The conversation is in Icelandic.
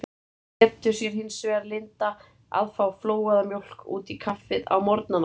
Þeir létu sér hins vegar lynda að fá flóaða mjólk út í kaffið á morgnana.